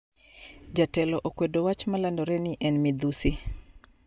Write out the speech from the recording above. Jatelo okwedo wach malandore ni en midhusi